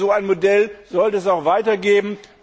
Ich glaube, so ein Modell sollte es auch weiter geben